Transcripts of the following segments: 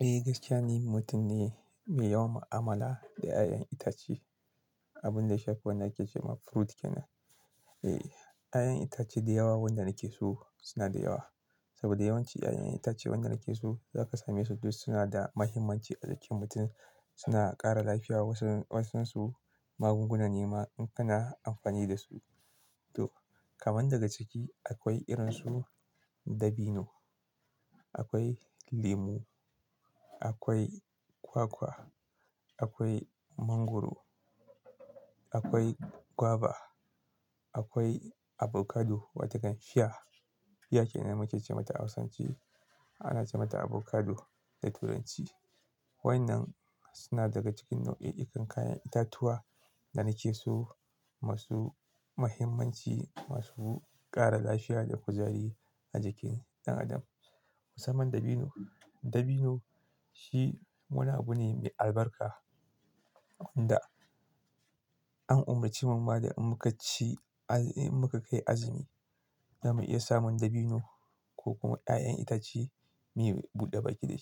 Eh, gaskiya ni mutum ne mai yawan amala da 'ya'yan itace, abin da shafi wanda ake ce ma fruit kenan. Eh, 'ya'yan itace da yawa wanda nake so suna da yawa. Saboda yawanci 'ya'yan itace wanda nake so zaka same su duk suna da mahimmanci a jikin mutum. Suna ƙara lafiya wasu-wasunsu magungunan nema in kana amfani da su. To, kaman daga ciki akwai irin su dabino, akwai lemu, akwai kwakwa, akwai mangwaro, akwai guava, akwai avocado wata kan fia. Fia kenan muke ce mata a Hausance. Ana ce mata avocado da Turanci. Waɗannan suna daga cikin nau'i kan kayan itatuwa da nake so, masu mahimmanci, masu ƙara lafiya da kuzari a jikin ɗan adam. Musamman dabino, dabino shi wani abune mai albarka wanda Eh, gaskiya ni mutum ne mai yawan mu'amala da 'ya'yan itace, abin da shafan ake ce ma fruit kenan.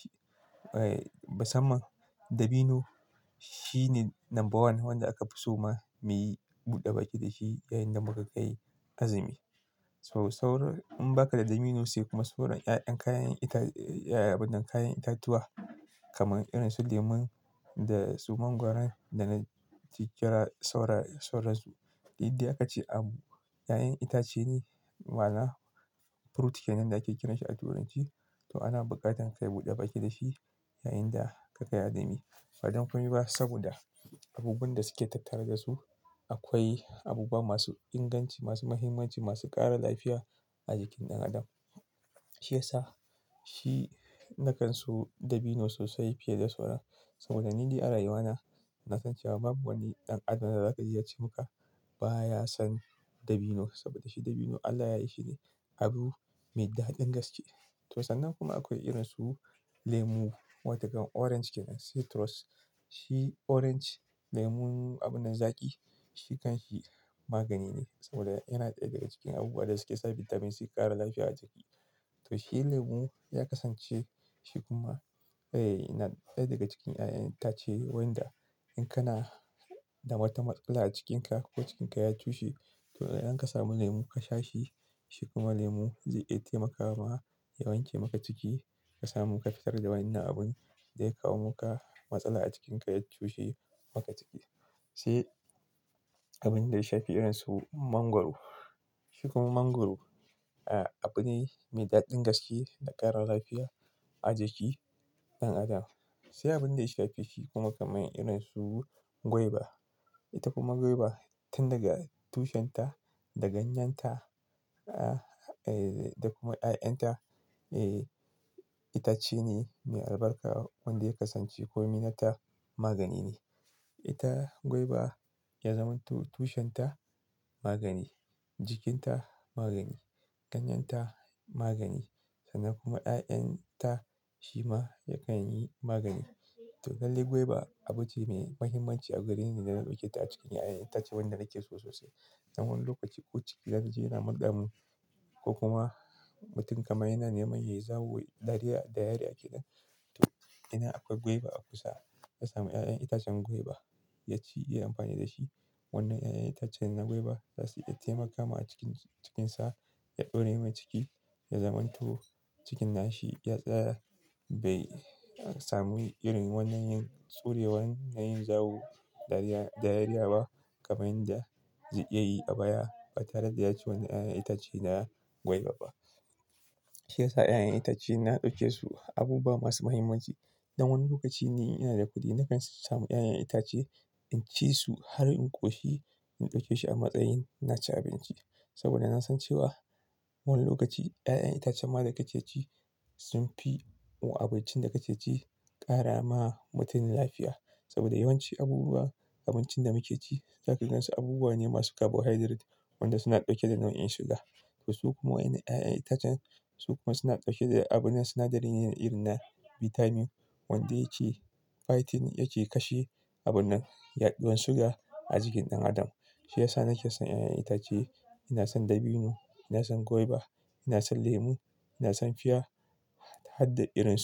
Eh, musamman dabino shine number one wanda aka fi so ma muyi buɗe baki da shi yayin da muka kai azumi. To sauran in ba ka da dabino sai kuma sauran 'ya'yan kayan ita-- 'ya'yan abin nan kayan itatuwa kaman irin su lemon da su mangwaran da na jikira saura-sauran su. Indai aka ce abu 'ya'yan itace ne ma'ana fruit kenan da ake kira shi a Turanci. To ana buƙatan ka yi buɗe baki da shi yayin da ka kai azumi. Badan komai ba saboda abubuwan da suke tattare da su, akwai abubuwa masu inganci, masu mahimmanci, masu ƙara lafiya a jikin ɗan adam. Shi yasa shi na kan so dabino sosai fiye da sauran. Saboda ni ɗai a rayuwa na, na san cewa babu wani ɗan adam da za ji yace maka baya son dabino. Saboda shi dabino Allah yayi shi ne abu mai daɗin gaske. To sannan kuma akwai irin su lemu wata kan orange kenan, citrus. Shi orange lemon abu nan zaƙi, shi kan shi magani ne saboda yana ɗaya daga cikin abubuwa da suke sa bitamin si ƙara lafiya a jiki. To shi lemon ya kasance shi kuma, eh, yana ɗaya daga cikin 'ya'yan itace wanda in kana da wata matsala a cikinka ko cikinka ya cushe, to idan ka samu lemu ka sha shi, shi kuma lemu zai iya taimaka ma ya wanke maka ciki. Ka samu ka fitar da wannan abun da ya kawo maka matsala a cikinka ya cushe maka ciki. Sai abin da ya shafi irin su mangwaro. Shi kuma mangwaro, ah, abune mai daɗin gaske da ƙara lafiya a jiki ɗan adam. Sai abin da ya shafe shi kuma kamar irin su guava. Ita kuma guava tun daga tushenta, da ganyanta, ah, eh, da kuma 'ya'yanta, eh, ita ce ne mai albarka wanda ya kasance komi na ta magani ne. Ita guava ya zamanto tushen ta magani, jikinta magani, ɗanyanta magani, sannan kuma 'ya'yan ta shi ma yakan yi magani. To lallai guava abu ce mai mahimmanci a gareni da na ɗauke ta a cikin 'ya'yan itace wanda nake so sosai. Dan wani lokaci ko cikina naji yana murdamin ko kuma mutum kamar yana neman yayi zawo ɗariya-- diarrhea kenan. To, yana akwai guava a kusa, ya sami 'ya'yan itacen guava ya ci, ya yi amfani da shi. Wannan 'ya'yan itacen na guava za su iya taimaka ma cikin-cikinsa ya ɗoremai ciki, ya zamanto cikinna shi ya tsaya bai sami irin wannan yin tsurewan na yin zawo ɗariya-- diarrhea ba kamar yadda zai iya yi a baya ba tare da ya ci wannan 'ya'yan itace na guava ba. Shi yasa 'ya'yan itace na ɗauke su abubuwa masu mahimmanci. Dan wani lokaci ne ina da kuɗi na kan samu 'ya'yan itace in ci su har in ƙoshi, in ɗauke shi a matsayin na ci abinci. Saboda na san cewa wani lokaci 'ya'yan itacen ma da kake ci sun fi abincin da kake ci ƙara ma mutum lafiya. Saboda yawanci abubuwa-- abincin da muke ci zaka gan su abubuwa ne masu carbohydrate wanda suna ɗauke da nau'in suga. To su kuma waɗannan 'ya'yan itacen su kuma suna ɗauke da abun na sinadarini irin na bitamin wanda yake fighting, yake kashe abun na yaɗuwan suga a jikin ɗan adam. Shi yasa nake son 'ya'yan itace. Ina son dabino, ina son guava, ina son lemu, ina son fia, har da irin su.